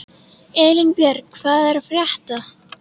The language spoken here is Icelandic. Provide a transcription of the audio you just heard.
Elínbjörg, hvað er að frétta?